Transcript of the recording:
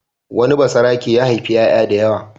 Wani basarake ya haifi ƴaƴa da yawa.